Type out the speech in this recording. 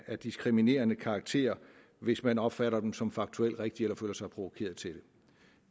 af diskriminerende karakter hvis man opfatter dem som faktuelt rigtige eller føler sig provokeret til